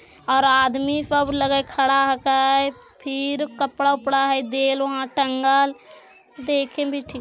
अरदली सब लगाई हइ खड़ा के फिर कपड़ा वपा है दे वा टंगाल देखे भी ठीक --